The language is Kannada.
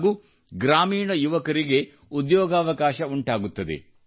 ಹಾಗೂ ಗ್ರಾಮೀಣ ಯುವಕರಿಗೆ ಉದ್ಯೋಗಾವಕಾಶ ಉಂಟಾಗುತ್ತದೆ